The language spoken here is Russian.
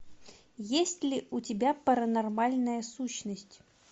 есть ли у тебя паранормальная сущность